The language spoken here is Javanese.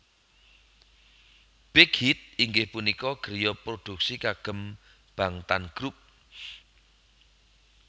Big Hit inggih punika griya produksi kagem Bangtan Grup